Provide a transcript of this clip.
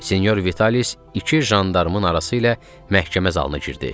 Sinyor Vitalis iki jandarmın arası ilə məhkəmə zalına girdi.